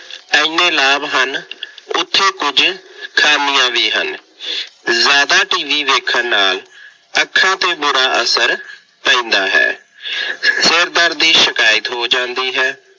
ਐਨੇ ਲਾਭ ਹਨ, ਉੱਥੇ ਕੁੱਝ ਖਾਮੀਆਂ ਵੀ ਹਨ। ਜ਼ਿਆਦਾ TV ਵੇਖਣ ਨਾਲ ਅੱਖਾਂ ਤੇ ਬੁਰਾ ਅਸਰ ਪੈਦਾ ਹੈ। ਸਿਰਦਰਦ ਦੀ ਸ਼ਿਕਾਇਤ ਹੋ ਜਾਂਦੀ ਹੈ।